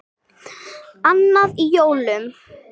Annan í jólum.